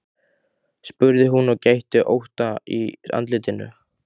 spurði hún og gætti ótta í andlitinu.